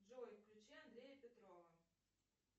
джой включи андрея петрова